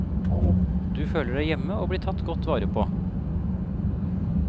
Du føler deg hjemme og blir tatt godt vare på.